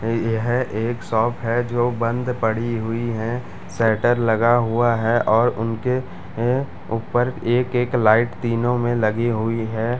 यह एक शॉप है जो बंद पड़ी हुई है शटर लगा हुआ है और उनके ए ऊपर एक एक लाइट तीनो में लगी हुई है ।